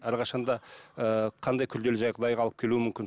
әрқашан да ыыы қандай күрделі жағдайға алып келуі мүмкін